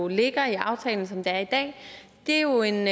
ligger i aftalen som den er i dag det er jo en